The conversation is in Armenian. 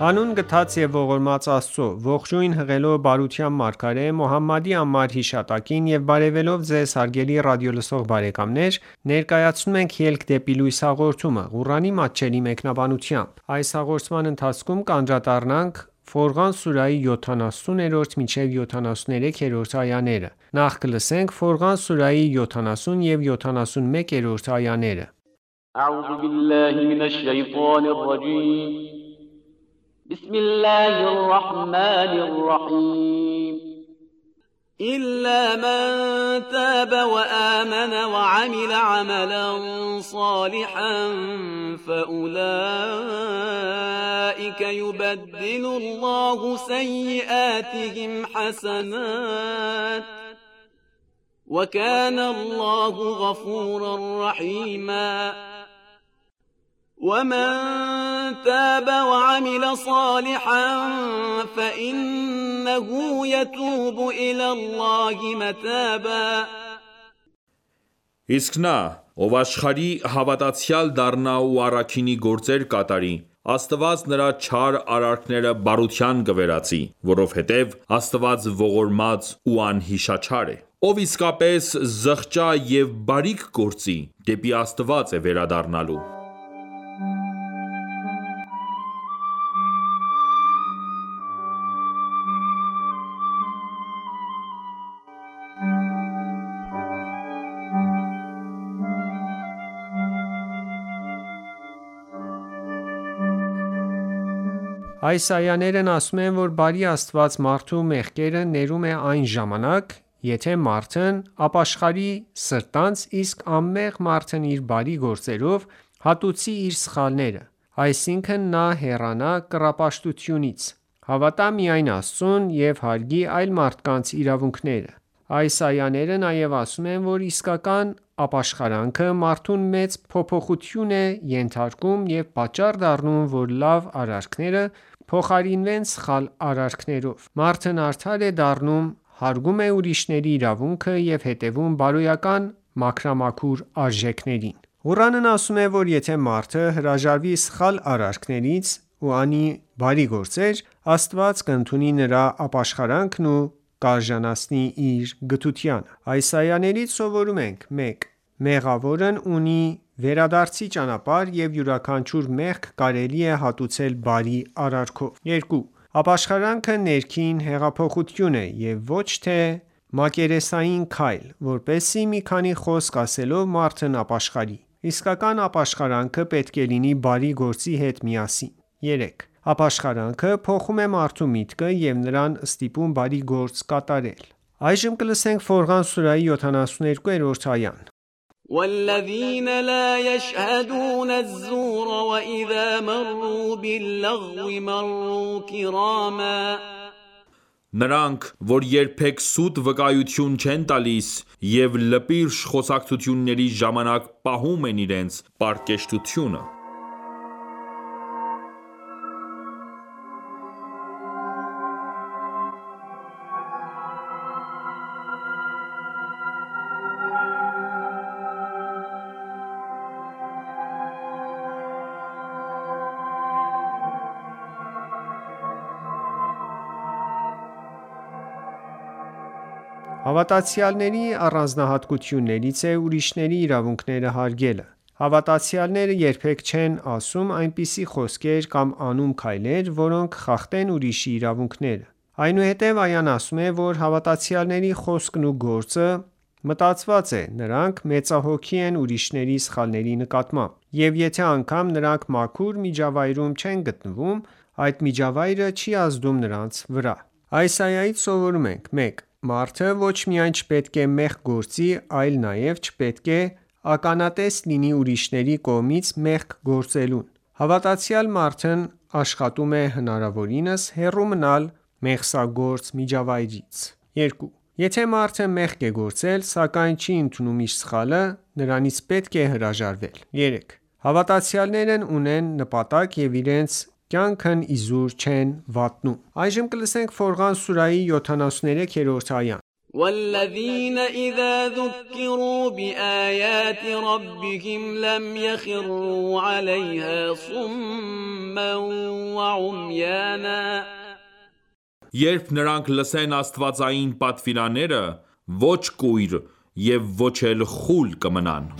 Հանուն գթած և ողորմած Աստծո:Ողջույն հղելով բարության մարգարե Մոհամմադի անմար հիշատակին եւ բարեւելով Ձեզ հարգելի ռադիոլսող բարեկամներ ներկայացնում ենք «Ելք դեպի լույս» հաղորդումը, Ղուրանի մատչելի մեկնաբանությամբ: Ֆորղան սուրահի 70 և 71-րդ այաներ وَمَن تَابَ وَعَمِلَ صَالِحًا فَإِنَّهُ یَتُوبُ إِلَى اللَّهِ مَتَابًا Իսկ նա, ով ապաշխարի, հավատացյալ դառնա ու առաքինի գործեր կատարի, Աստված նրա չար արարքները բարության կվերածի, (որովհետև) Աստված ողորմած ու անհիշաչար է: Ով իսկապես զղջա և բարիք գործի` դեպի Աստված է վերադառնալու: Այս այաներն ասում են, որ բարի Աստված մարդու մեղքերը ներում է այն ժամանակ, եթե մարդն ապաշխարի սրտանց, իսկ անմեղ մարդն իր բարի գործերով հատուցի իր սխալները: Այսինքն նա հեռանա կռապաշտությունից, հավատա միակ Աստծուն և հարգի այլ մարդկանց իրավունքները: Այս այաները նաև ասում են, որ իսկական ապաշխարանքը մարդուն մեծ փոփոխության է ենթարկում և պատճառ դառնում, որ լավ արարքները փոխարինվեն սխալ արարքներով: Մարդն արդար է դառնում, հարգում է ուրիշների իրավունքը և հետևում բարոյական մաքրամաքուր արժենքերին: Ղուրանն ասում է, որ եթե մարդը հրաժարվի սխալ արարքներից ու անի բարի գործեր, Աստված կընդունի նրա ապաշախարանքն ու կարժանացնի իր գթությանը: Այս այաներից սովորում ենք․ 1. Մեղավորն ունի վերադարձի ճանապարհ և յուրաքանչյուր մեղք կարելի է հատուցել բարի արարքով: 2. Ապաշխարանքը ներքին հեղափոխություն է և ոչ թե մակերեսային քայլ, որպեսզի մի քանի խոսք ասելով մարդն ապաշխարի: Իսկական ապաշխարանքը պետք է լինի բարի գործի հետ միասին: 3. Ապաշխարանքը փոխում է մարդու միտքը և նրան ստիպում բարի գործ կատարել: Ֆորղան սուրահի 72-րդ այա وَالَّذِینَ لَا یَشْهَدُونَ الزُّورَ وَإِذَا مَرُّوا بِاللَّغْوِ مَرُّوا کِرَامًا Նրանք, որ երբեք սուտ վկայություն չեն տալիս և լպիրշ խոսակցությունների ժամանակ պահում են իրենց պարկեշտությունը: Հավատացյալների առանձնահատկություններից է ուրիշների իրավունքները հարգելը: Հավատացյալները երբեք չեն ասում այնպիսի խոսքեր կամ անում քայլեր, որոնք խախտեն ուրիշի իրավունքները: Այնուհետև այան ասում է, որ հավատացյալների խոսքն ու գործը մտածված է, նրանք մեծահոգի են ուրիշների սխալների նկատմամբ: Եվ եթե անգամ նրանք մաքուր միջավայրում չեն գտնվում, այդ միջավայրը չի ազդում նրանց վրա: Այս այայից սովորում ենք․ 1. Մարդը ոչ միայն չպետք է մեղք գործի այլ նաև չպետք է ականատես լինի ուրիշների կողմից մեղք գործելուն: Հավատացյալ մարդն աշխատում է հնարավորինս հեռու մնալ մեղսագործ միջավայրից: 2. Եթե մարդը մեղք է գործել, սակայն չի ընդունում իր սխալը, նրանից պետք է հրաժարվել 4. Հավատացյալներն ունեն նպատակ և իրենց կյանքն իզուր չեն վատնում: Ֆորղան սուրահի 73-րդ այա وَالَّذِینَ إِذَا ذُکِّرُوا بِآیَاتِ رَبِّهِمْ لَمْ یَخِرُّوا عَلَیْهَا صُمًّا وَعُمْیَانًا Երբ նրանք լսեն աստվածային պատվիրանները, ոչ կույր և ոչ էլ խուլ կմնան: